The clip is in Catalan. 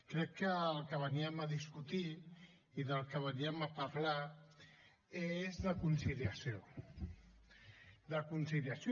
crec que el que veníem a discutir i del que veníem a parlar és de conciliació de conciliació